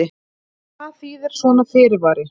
En hvað þýðir svona fyrirvari?